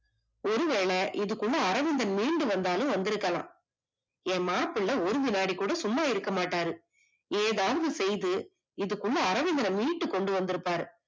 ஒரு வேல இதுக்குள்ள அரவிந்தன் மீண்டுவந்தாலும் வந்திருக்கலாம், என் மாப்பிள்ள ஒரு வினாடிகூட சும்மா இருக்க மாட்டாரு ஏதாவது செய்து இதுக்குள்ள அரவிந்தன மீட்டு கொண்டுவந்திருப்பாரு